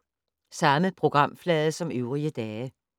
Samme programflade som øvrige dage